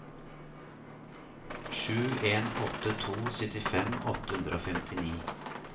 sju en åtte to syttifem åtte hundre og femtini